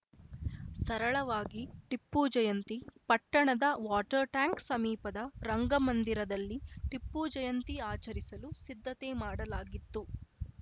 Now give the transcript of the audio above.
ಸರಳವಾಗಿ ಟಿಪ್ಪು ಜಯಂತಿ ಪಟ್ಟಣದ water tank ಸಮೀಪದ ರಂಗಮಂದಿರದಲ್ಲಿ ಟಿಪ್ಪು ಜಯಂತಿ ಆಚರಿಸಲು ಸಿದ್ದತೆ ಮಾಡಲಾಗಿತ್ತು